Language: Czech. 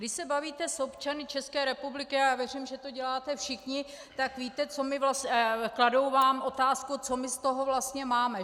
Když se bavíte s občany České republiky, a já věřím, že to děláte všichni, tak víte, kladou vám otázku: Co my z toho vlastně máme?